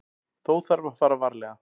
Þó þarf að fara varlega.